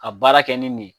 Ka baara kɛ ni nin ye